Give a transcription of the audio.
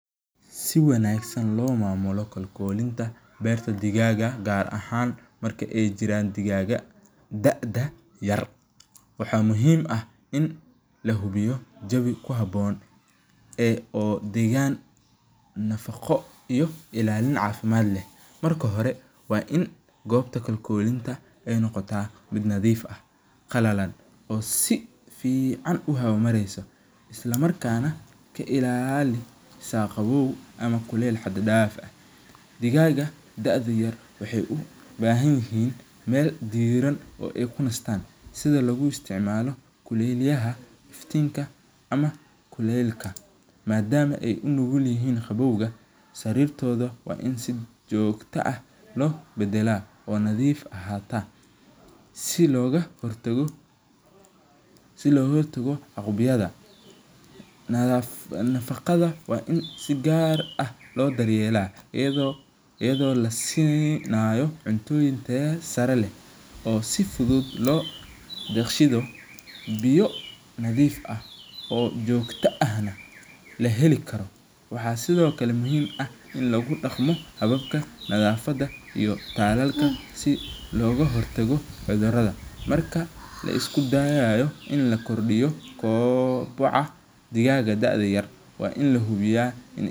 Si wanagsan limamulo kalkolinta berta digaga gaar ahan marka ay jiraan digaga daada yar, waxa muxiim ah in lahubiyo jawii kuhaboon ee digan nafago iyo cagimad leh, marka hore wa in gobta kalkolinta ay nogota mid nadiif ah qalalan si ficaan uhaba mareyso, isla markana kailalisa qawow ama kukel hadfaan ah, digaga daadu yar waxay ubahanyixiin mel diraan oo ay kunastaan sida laguisticmalo mela iftinka ama kulelka, maadama unugulyixiin qabowga srirtoda w in si joogto ah obadaa oo nadiif ahata, si loghortago aqibyadaka, nafaqada wa i si gaar ah lodaryela iyado lasinayo cuntiyin tayo saree leh, oo si fudud lodigsiyo nadiif ah oo jogto ahl ahelikaro waxa sidhokale muxiim ah in lagudagmo hababka nadafada iyo talalka si logahortago cudurada marka laisbarayo in lakordiyo kobaca digaga daada yar wa in lahubiya.